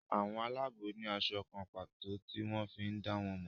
àwọn Àlàabò ní aṣọ kán pàtó tí wón fí dá wón mo.